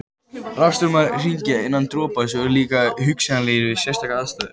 Rafstraumar í hringi innan dropans eru líka hugsanlegir við sérstakar aðstæður.